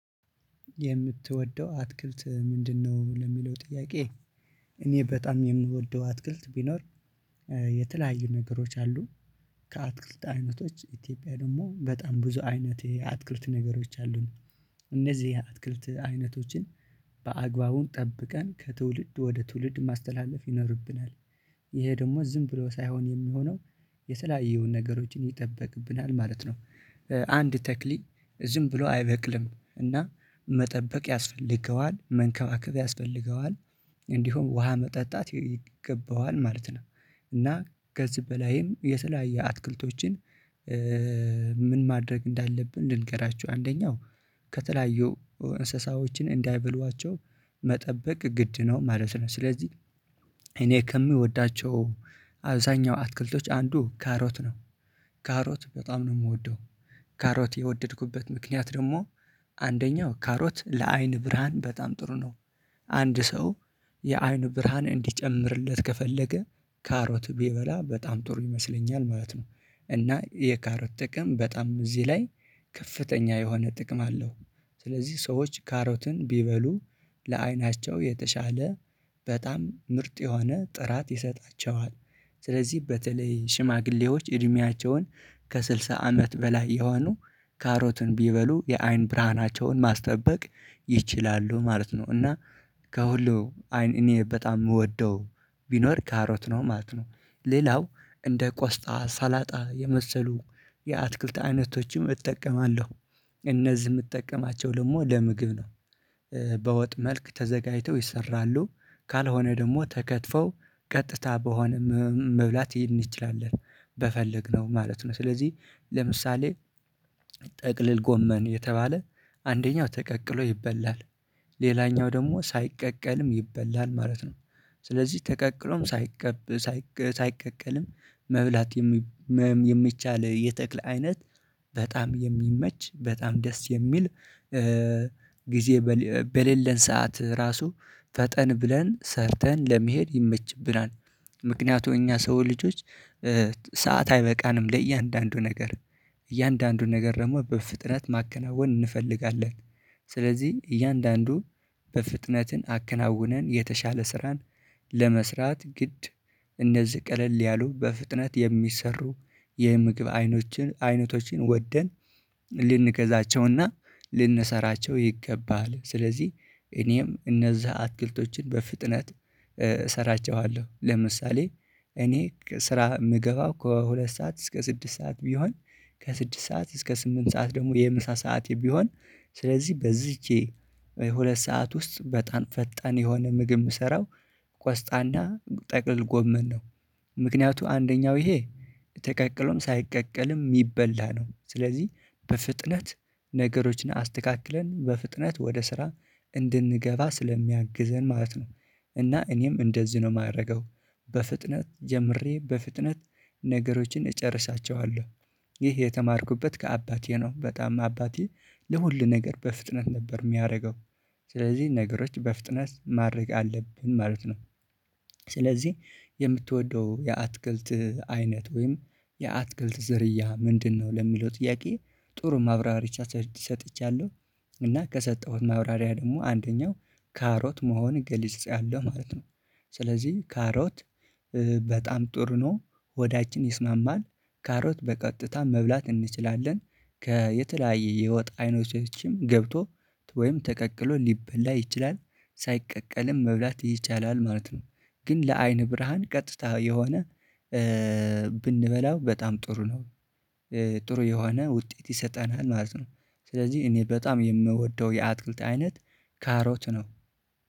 የምትወደው አትክልት ምንድነው? ለሚለው ጥያቄ። እኔ በጣም የምወደው አትክልት ቢኖር። የተለያዩ ነገሮች አሉ። ከአትክልት አይነቶች ኢትዮጵያ ደግሞ በጣም ብዙ አይነት የአትክልት ነገሮች አሉን። እነዚህ አትክልት አይነቶችን በአግባቡ ጠብቀን ከትውልድ ወደ ትውልድ ማስተላለፍ ይኖርብናል። ይሄ ደግሞ ዝም ብሎ ሳይሆን የሚሆነው የተለያዩ ነገሮችን ይጠበቅብናል ማለት ነው። አንድ ተክሊ ዝም ብሎ አይበቅልም እና መጠበቅ ያስፈልገዋል መንከባከብ ያስፈልገዋል። እንዲሁም ውሃ መጠጣት ይገባዋል ማለት ነው። እና ከዚ በላይም የተለያዩ አትክልቶችን። ምን ማድረግ እንዳለብን ልንገራችሁ። አንደኛው ከተለያዩ እንስሳዎችን እንዳይበሏቸው መጠበቅ ግድ ነው ማለት ነው። ስለዚህ እኔ ከምወዳቸው አብዛኛው አትክልቶች አንዱ ካሮት ነው። ካሮት በጣም ነው የምወደው። ካሮት የወደድኩበት ምክንያት ደግሞ። አንደኛው ካሮት ለአይን ብርሃን በጣም ጥሩ ነው። አንድ ሰው የአይን ብርሃን እንዲጨምርለት ከፈለገ ካሮት ቢበላ በጣም ጥሩ ይመስለኛል ማለት ነው። እና የካሮት ጥቅም በጣም እዚህ ላይ ከፍተኛ የሆነ ጥቅም አለው። ስለዚህ ሰዎች ካሮትን ቢበሉ ለአይናቸው የተሻለ በጣም ምርጥ የሆነ ጥራት ይሰጣቸዋል። ስለዚህ በተለይ ሽማግሌዎች እድሜያቸውን ከስልሳ አመት በላይ የሆኑ ካሮትን ቢበሉ የአይን ብርሃናቸውን ማስጠበቅ ይችላሉ ማለት ነው። እና ከሁሉ አይን እኔ በጣም የምወደው ቢኖር ካሮት ነው ማለት ነው። ሌላው እንደ ቆስጣ ሳላጣ የመሰሉ የአትክልት አይነቶችም እጠቀማለሁ። እነዚህ የምጠቀማቸው ደግሞ ለምግብ ነው። በወጥ መልክ ተዘጋጅተው ይሰራሉ ካልሆነ ደግሞ ተከትፈው ቀጥታ በሆነ መብላት እንችላለን። በፈለግነው ማለት ነው ስለዚህ ለምሳሌ ጥቅልል ጎመን የተባለ አንደኛው ተቀቅሎ ይበላል። ሌላኛው ደግሞ ሳይቀቀልም ይበላል ማለት ነው። ስለዚህ ተቀቅሎም ሳይቀብ ሳይቀቀልም መብላት የሚቻል የተክለ አይነት በጣም የሚመች በጣም ደስ የሚል። ጊዜ በሌለን ሰዓት ራሱ ፈጠን ብለን ሰርተን ለመሄድ ይመችብናል። ምክንያቱም እኛ ሰው ልጆች ሰዓት አይበቃንም ለእያንዳንዱ ነገር እያንዳንዱ ነገር ደግሞ በፍጥነት ማከናወን እንፈልጋለን። ስለዚህ እያንዳንዱ በፍጥነትን አከናውነን የተሻለ ስራን ለመስራት ግድ እነዚህ ቀለል ያሉ በፍጥነት የሚሰሩ የምግብ አይኖችን አይነቶችን ወደን ልንገዛቸውና ልንሰራቸው ይገባል። ስለዚህ እኔም እነዛ አትክልቶችን በፍጥነት እሰራቸዋለሁ። ለምሳሌ እኔ ስራ የምገባው ከሁለት ሰዓት እስከ ስድስት ሰዓት ቢሆን ከስድስት ሰዓት እስከ ስምንት ሰዓት ደግሞ የምሳ ሰዓት ቢሆን ስለዚህ በዚች ሁለት ሰዓት ውስጥ በጣም ፈጣን የሆነ ምግብ የምሰራው ቆስጣና ጠቅልል ጎመን ነው። ምክንያቱ አንደኛው ይሄ ተቀቅሎም ሳይቀቀልም ይበላሉ ስለዚህ በፍጥነት ነገሮችን አስተካክለን በፍጥነት ወደ ስራ እንድንገባ ስለሚያግዘን ማለት ነው። እና እኔም እንደዚህ ነው የማደርገው። በፍጥነት ጀምሬ በፍጥነት ነገሮችን እጨርሳቸዋለሁ። ይህ የተማርኩበት ከአባቴ ነው በጣም አባቴ ለሁሉ ነገር በፍጥነት ነበር የሚያደርገው። ስለዚህ ነገሮች በፍጥነት ማድረግ አለብን ማለት ነው። ስለዚህ የምትወደው የአትክልት አይነት ወይም የአትክልት ዝርያ ምንድነው? ለሚለው ጥያቄ። ጥሩ ማብራሪያ ቻ ሰጥቻለሁ። እና ከሰጠሁት ማብራሪያ ደግሞ አንደኛው ካሮት መሆን ገልጺያለሁ ማለት ነው። ስለዚህ ካሮት በጣም ጥሩ ነው። ሆዳችን ይስማማል ካሮት በቀጥታ መብላት እንችላለን። ከየተለያየ የወጥ አይነቶችንም ገብቶ ወይም ተቀቅሎ ሊበላ ይችላል። ሳይቀቀልም መብላት ይቻላል ማለት ነው። ግን ለአይን ብርሃን ቀጥታ የሆነ ብንበላው በጣም ጥሩ ነው። ጥሩ የሆነ ውጤት ይሰጠናል ማለት ነው። ስለዚህ እኔ በጣም የምወደው የአትክልት አይነት ካሮት ነው